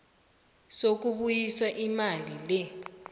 sokubuyisa imali le